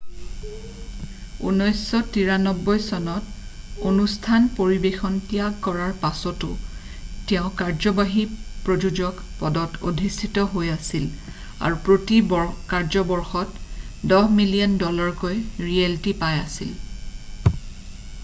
1993 চনত অনুষ্ঠান পৰিবেশন ত্যাগ কৰাৰ পাছতো তেওঁ কাৰ্যবাহী প্ৰযোজক পদত অধিষ্ঠিত হৈ আছিল, আৰু প্ৰতি কাৰ্যবৰ্ষত দহ মিলিয়ন ডলাৰকৈ ৰয়েলটি পাই আছিল।